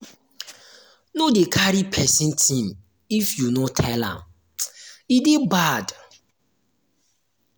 no dey carry pesin tin if you no tell am e dey bad.